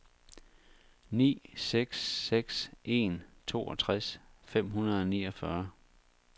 ni seks seks en toogtres fem hundrede og niogfyrre